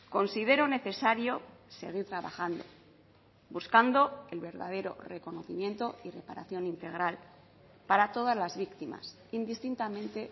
considero necesario seguir trabajando buscando el verdadero reconocimiento y reparación integral para todas las víctimas indistintamente